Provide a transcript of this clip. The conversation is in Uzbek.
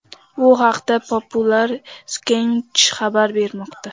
Bu haqda Popular Science xabar bermoqda .